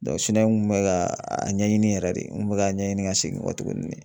n kun bɛ ka a ɲɛɲini yɛrɛ de n kun bɛ ka ɲɛɲini ka segin kɔtuguni.